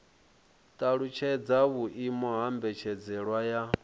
talutshedza vhuimo ha mbetshelwa ya